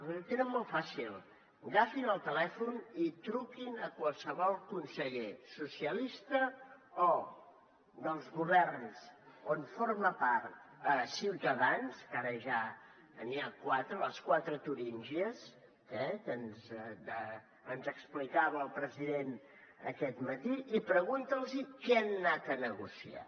ho tenen molt fàcil agafin el telèfon i truquin a qualsevol conseller socialista o dels governs on forma part ciutadans que ara ja n’hi ha quatre les quatre turíngies que ens explicava el president aquest matí i pregunteu los què hi han anat a negociar